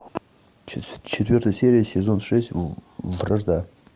четвертая серия сезон шесть вражда